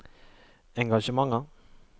engasjementer